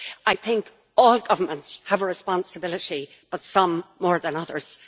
I think all governments have a responsibility, but some more than others.